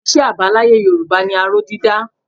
Iṣẹ́ àbáláyé Yorùbá ni aró dídá